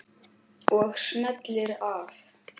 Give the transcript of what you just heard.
Og smellir af.